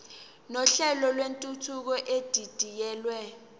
nohlelo lwentuthuko edidiyelwe